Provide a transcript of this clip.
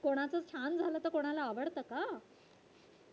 कोणाचं छान झालं तर कोणाला आवडत का.